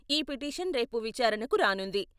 ఈ పిటిషన్ రేపు విచారణకు రానుంది.